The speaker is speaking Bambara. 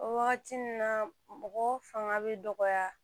O wagati nun na mɔgɔ fanga bɛ dɔgɔya